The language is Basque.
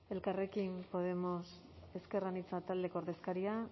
elkarrekin podemos ezker anitza taldeko ordezkaria